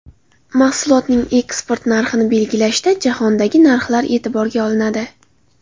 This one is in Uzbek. Mahsulotning eksport narxini belgilashda jahondagi narxlar e’tiborga olinadi.